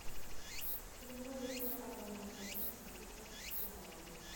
прямой эфир апл манчестер сити с арсеналом